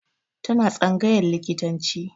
Tana tsangayan likitanci